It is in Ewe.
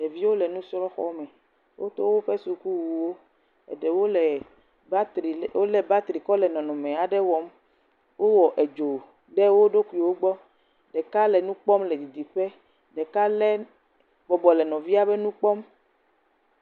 Ɖeviwo le nusrɔ̃xɔme wodo woƒe sukuwo. Eɖewo le bateri kɔ le nɔnɔme aɖe wɔm, wowɔ edzo ɖe wo ɖokuiwo gbɔ, ɖeka le nu kpɔm le didi ƒe, ɖeka le nu kpɔm.